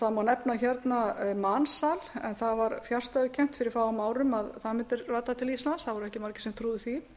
það má nefna mansal en það var fjarstæðukennt fyrir fáum árum að það mundi rata til íslands það voru ekki margir sem trúðu því